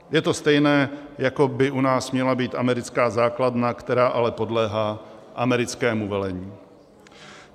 Je to stejné, jako by u nás měla být americká základna, která ale podléhá americkému velení.